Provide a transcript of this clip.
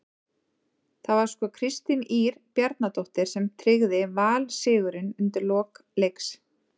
Það var svo Kristín Ýr Bjarnadóttir sem tryggði Val sigurinn undir lok leiks.